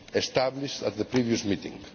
established at the previous meeting.